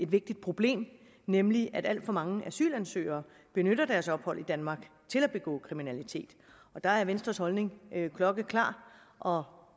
vigtigt problem nemlig at alt for mange asylansøgere benytter deres ophold i danmark til at begå kriminalitet og der er venstres holdning klokkeklar og